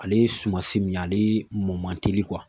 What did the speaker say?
Ale ye sumansi min ye ale mɔ man teli